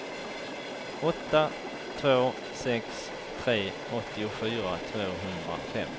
åtta två sex tre åttiofyra tvåhundrafem